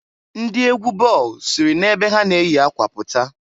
Ndị egwu ball siri na ebe ha na-eyi akwa pụta.